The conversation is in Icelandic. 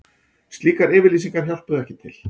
Slíkar yfirlýsingar hjálpuðu ekki til